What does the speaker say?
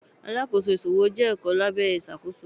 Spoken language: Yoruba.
Alákóso ìṣòwò jẹ́ ẹ̀kọ́ lábẹ́ ìṣàkóso.